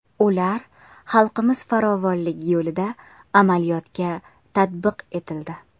Ular xalqimiz farovonligi yo‘lida amaliyotga tatbiq etildi.